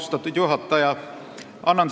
Austatud juhataja!